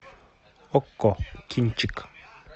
окко кинчик